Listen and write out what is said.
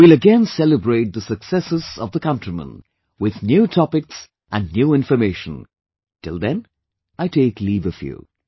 We will again celebrate the successes of the countrymen with new topics and new information, till then I take leave of you